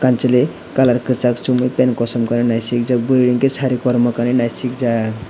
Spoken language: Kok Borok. kamchwlwi colour kwchak chumui pen kasom kanui naisikjak burui hwnkhe sari kormo kanui naisikjak.